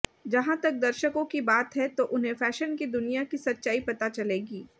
जहां तक दर्शकों की बात है तो उन्हें फैशन की दुनिया की सच्चाई पता चलेगी